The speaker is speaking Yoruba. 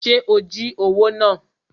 Ṣe o jí owó náà?